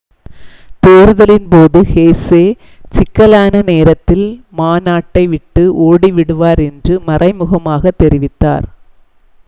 தேர்தலின் போது ஹெசே சிக்கலான நேரத்தில் மா நாட்டை விட்டு ஓடி விடுவார் என்று மறைமுகமாகத் தெரிவித்தார்